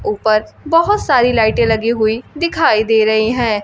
उपर बहोत सारी लाइटे लगी हुई दिखाई दे रही है।